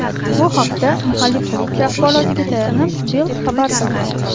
Bu haqda mahalliy politsiya axborotiga tayanib, Bild xabar qilgan .